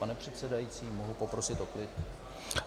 Pane předsedající, mohu poprosit o klid?